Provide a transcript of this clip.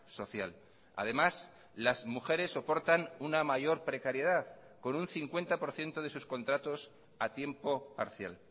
social además las mujeres soportan una mayor precariedad con un cincuenta por ciento de sus contratos a tiempo parcial